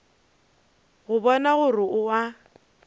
go bona gore o a